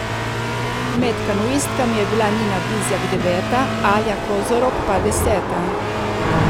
Med kanuistkami je bila Nina Bizjak deveta, Alja Kozorog pa deseta.